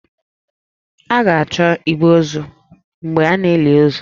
A ga-achọ igbe ozu mgbe a na-eli ozu